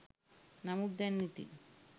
නමුත් දැන් ඉතින්